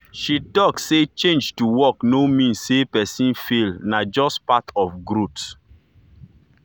she talk say change to work no mean say person fail na just part of growth.